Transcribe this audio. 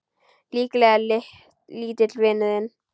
Líklega lítill vinur þinn!